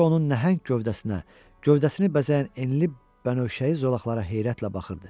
Qoca onun nəhəng gövdəsinə, gövdəsini bəzəyən enli bənövşəyi zolaqlara heyrətlə baxırdı.